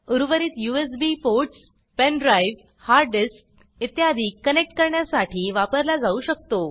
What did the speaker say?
उर्वरित USB ports pen drive hard disk इ connect करण्यासाठी वापरला जाऊ शकतो